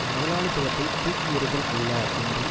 முதலாளித்துவத்தைத் தூக்கி எறிதல் அல்ல என்றும்